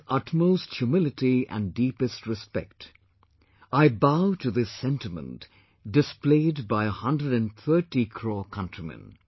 With utmost humility and deepest respect, I bow to this sentiment displayed by a 130 crore countrymen